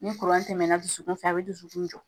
Ni tɛmɛna dusukun fɛ ?a be dusukun jɔ.